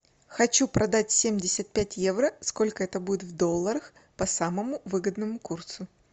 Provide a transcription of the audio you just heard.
хочу продать семьдесят пять евро сколько это будет в долларах по самому выгодному курсу